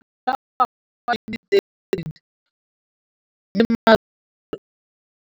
Ka ngwaga wa 2013, molemirui mo kgaolong ya bona o ne a dumela go ruta Mansfield le go mo adima di heketara di le 12 tsa naga.